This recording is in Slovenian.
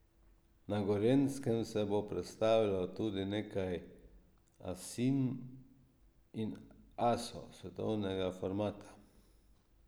Na Gorenjskem se bo predstavilo tudi nekaj asinj in asov svetovnega formata.